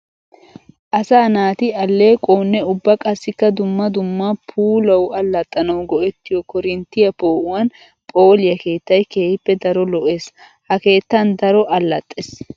Asa naati alequwawunne ubba qassikka dumma dumma puulawu alaxxanawu go'ettiyo koorinttiya poo'uwan phooliya keettay keehippe daro lo'ees. Ha keettan daro alaxxees.